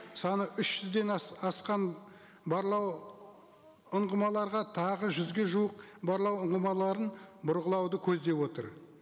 саны үш жүзден асқан барлау ұңғымаларға тағы жүзге жуық барлау ұңғымаларын бұрғылауды көзеп отыр